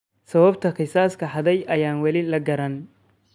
Sababta kiisaska hadhay ayaan weli la garanayn.